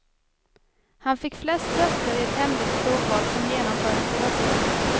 Han fick flest röster i ett hemligt provval som genomfördes i höstas.